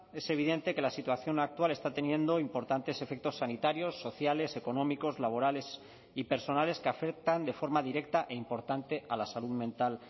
es evidente que la situación actual está teniendo importantes efectos sanitarios sociales económicos laborales y personales que afectan de forma directa e importante a la salud mental